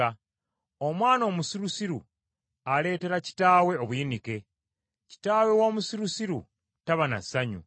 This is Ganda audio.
Omwana omusirusiru aleetera kitaawe obuyinike, kitaawe w’omusirusiru taba na ssanyu.